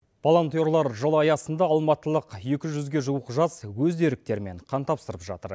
волонтерлар жыл аясында алматылық екі жүзге жуық жас өз еріктерімен қан тапсырып жатыр